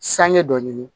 Sanŋe dɔ ɲini